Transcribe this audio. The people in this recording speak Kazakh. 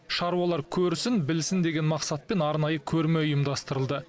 шаруалар көрсін білсін деген мақсатпен арнайы көрме ұйымдастырылды